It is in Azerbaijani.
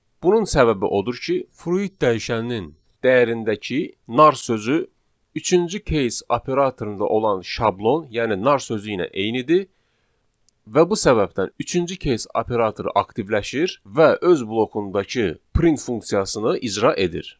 Bunun səbəbi odur ki, fruit dəyişəninin dəyərindəki nar sözü üçüncü case operatorunda olan şablon, yəni nar sözü ilə eynidir və bu səbəbdən üçüncü case operatoru aktivləşir və öz blokundakı print funksiyasını icra edir.